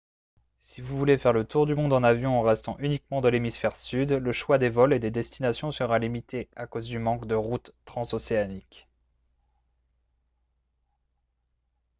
si vous voulez faire le tour du monde en avion en restant uniquement dans l'hémisphère sud le choix des vols et des destinations sera limité à cause du manque de routes transocéaniques